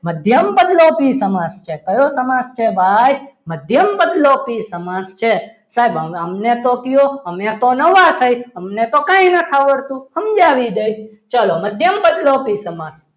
મધ્યમપદલોપી સમાસ છે કયો સમાસ છે ભાઈ મધ્યમપદલોપી સમાસ છે સાહેબ અમને તો કહો અમે તો નવા છીએ અમને તો કંઈ નથી આવડતું સમજાવી દે ચલો મધ્યમ પદ લોપી સમાજ